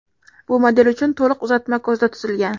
Bu model uchun to‘liq uzatma ko‘zda tutilgan.